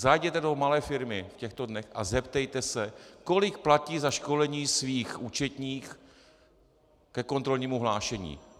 Zajděte do malé firmy v těchto dnech a zeptejte se, kolik platí za školení svých účetních ke kontrolnímu hlášení.